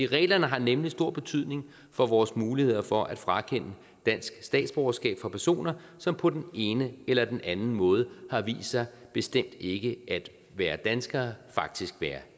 reglerne har nemlig stor betydning for vores muligheder for at frakende dansk statsborgerskab fra personer som på den ene eller den anden måde har vist sig bestemt ikke at være danskere faktisk være